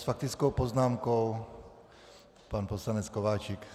S faktickou poznámkou pan poslanec Kováčik.